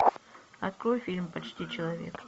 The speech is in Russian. открой фильм почти человек